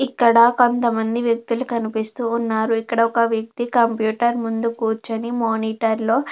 ఇక్కడా కొంత మంది వ్యక్తులు కనిపిస్తూ ఉన్నారు. ఇక్కడ ఒక వ్యక్తి కంప్యూటర్ ముందు కూర్చుని మానిటర్ లో--